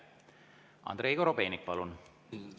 Andrei Korobeinik, palun!